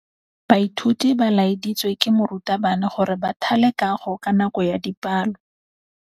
Baithuti ba laeditswe ke morutabana gore ba thale kagô ka nako ya dipalô.